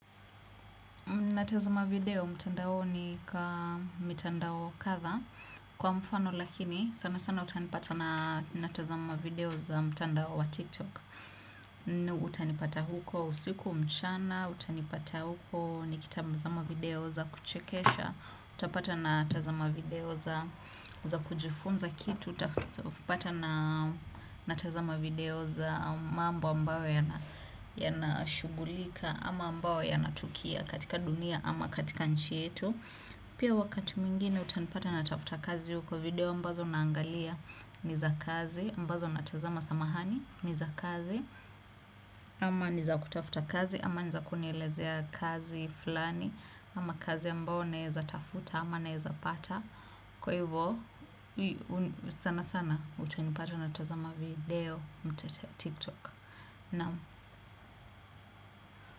Natazama video mtandaoni kaa mitandao kadha kwa mfano lakini sana sana utanipata natazama video za mtandao wa Tiktok utanipata huko usiku mchana, utanipata huko nikitazama video za kuchekesha utapata natazama video za kujifunza kitu. Utapata na natazama video za mambo ambayo yana shugulika. Ama ambayo yanatukia katika dunia ama katika nchi yetu. Pia wakati mwingine utanipata natafuta kazi uko video ambazo naangalia ni za kazi ambazo natazama samahani ni za kazi ama ni za kutafuta kazi ama ni za kunielezea kazi fulani. Ama kazi ambayo naeza tafuta ama naeza pata. Kwa hivyo sana sana utanipata natazama video mtetea tiktok. Naam.